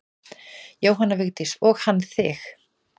Jóhanna Vigdís: Og hann þig?